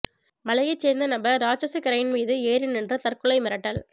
மலையை சேர்ந்த நபர் ராட்சத கிரைன் மீது ஏறி நின்று தற்கொலை மிரட்டல்